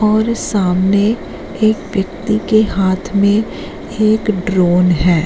और सामने एक व्यक्ति के हाथ में एक ड्रोन है।